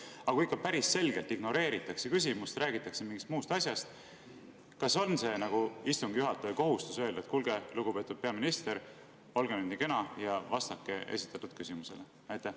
Aga kui ikka päris selgelt küsimust ignoreeritakse ja räägitakse mingist muust asjast, siis kas on istungi juhataja kohustus öelda, et kuulge, lugupeetud peaminister, olge nii kena ja vastake esitatud küsimusele?